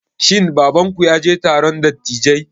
Shin babanku ya je taron dattijai?